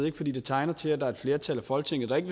ikke fordi det tegner til at der er et flertal i folketinget der ikke